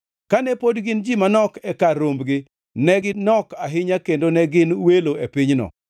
Kane pod gin ji manok e kar rombgi, ne ginok ahinya kendo ne gin welo e pinyno,